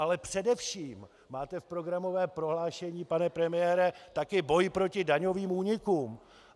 Ale především máte v programovém prohlášení, pane premiére, také boj proti daňovým únikům.